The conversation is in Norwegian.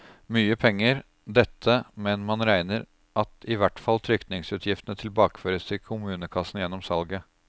Mye penger, dette, men man regner at i hvert fall trykningsutgiftene tilbakeføres til kommunekassen gjennom salget.